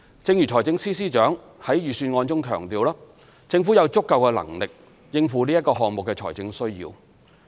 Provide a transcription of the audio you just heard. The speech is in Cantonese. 正如財政司司長在預算案中強調，政府有足夠的能力應付此項目的財政需要。